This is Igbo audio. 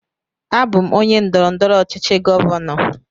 Abụ m onye ndọrọndọrọ ọchịchị govano.